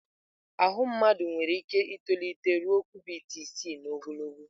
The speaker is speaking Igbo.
Ahụ mmadụ nwere ike itolite ruo kubit isii n'ogologo.